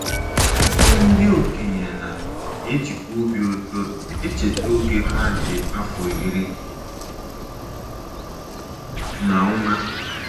Ọtụtụ ndị okenye na - ejikwa obi ụtọ echeta oge ha dị afọ iri na ụma.